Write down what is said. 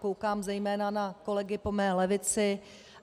Koukám zejména na kolegy po mé levici.